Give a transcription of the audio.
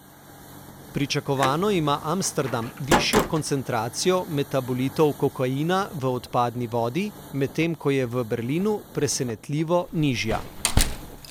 Pričakovano ima Amsterdam višjo koncentracijo metabolitov kokaina v odpadni vodi, medtem ko je v Berlinu presenetljivo nižja.